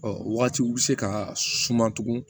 Ɔ wagatiw bɛ se ka suma tugun